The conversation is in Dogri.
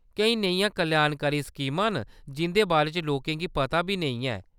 केईं नेहियां कल्याणकारी स्कीमां न जिंʼदे बारे च लोकें गी पता बी नेईं ऐ।